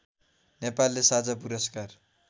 नेपालले साझा पुरस्कार